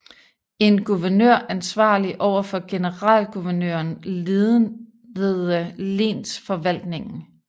En guvernør ansvarlig over for generalguvernøren ledede lensforvaltningen